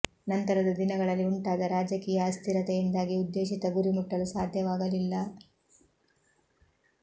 ನಂತರದ ದಿನಗಳಲ್ಲಿ ಉಂಟಾದ ರಾಜಕೀಯ ಅಸ್ಥಿರತೆಯಿಂದಾಗಿ ಉದ್ದೇಶಿತ ಗುರಿ ಮುಟ್ಟಲು ಸಾಧ್ಯವಾಗಲಿಲ್ಲ